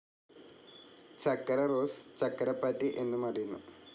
ചക്കരറോസ്, ചക്കരപാറ്റ് എന്നും അറിയുന്നു.